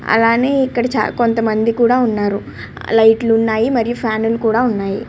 అలాగే ఇక్కడ కొంత మంది ఉన్నారు లైట్స్ ఉన్నాయ్ మరియు ఫ్యాన్లు కూడా ఉన్నాయి.